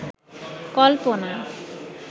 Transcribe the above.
কল্পনা